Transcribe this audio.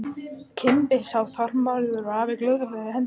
Kimbi sá að Þormóður hafði gullhring á hendi.